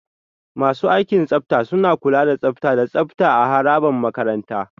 Masu aikin tsafta suna kula da tsafta da tsafta a harabar makaranta.